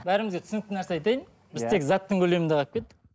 бәрімізге түсінікті нәрсе айтайын біз тек заттың көлемінде қарап кеттік